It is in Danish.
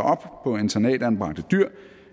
op på internatanbragte dyr